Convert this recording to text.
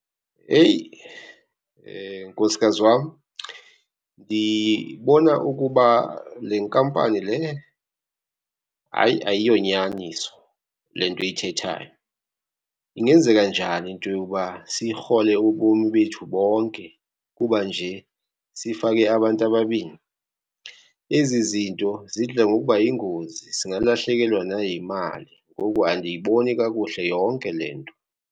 Eyi nkosikazi wam, ndibona ukuba le nkampani le, hayi ayiyonyaniso le nto uyithethayo. Ingenzeka njani into yokuba sirhole ubomi bethu bonke kuba nje sifake abantu ababini? Ezi zinto zidla ngokuba yingozi singalahlekelwa nayimali ngoku andiyiboni kakuhle yonke le nto.